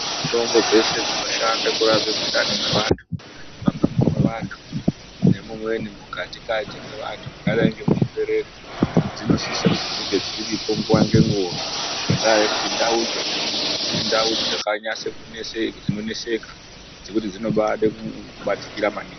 Mitombo dzeshe dzinoshanda kurapa mundani mevantu nemumweni mukatikati mevantu mwakadai nemuzvibereko dzinosise kunge dziripo nguva nenguva ngenda yekuti ndau dzo dzemuntu idzau dzinoneseka zvekuti dzinobade kubatikira maningi .